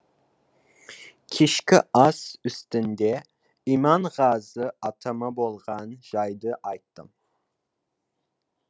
кешкі ас үстінде иманғазы атама болған жайды айттым